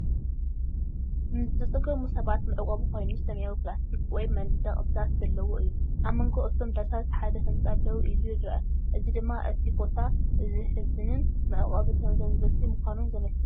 ንዝተጸገሙ ሰባት መዕቆቢ ኮይኑ፡ ሰማያዊ ፕላስቲክ ወይ መንደቕ ዳስ ዘለዎ እዩ። ኣብ መንጎ እቶም ዳሳት ሓደ ህጻን ደው ኢሉ ይርአ። እዚ ድማ እቲ ቦታ ዘሕዝንን መዕቆቢ ተመዛበልቲ ምዃኑን ዘመልክት እዩ።